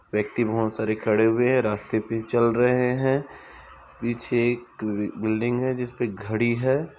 व्यक्ति बहुत सारे खड़े हुए हैं रास्ते पे चल रहे हैं पीछे एक अ बिल्डिंग है जिसपे घड़ी है।